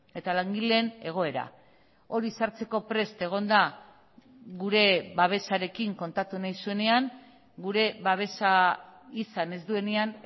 eta langileen egoera hori sartzeko prest egon da gure babesarekin kontatu nahi zuenean gure babesa izan ez duenean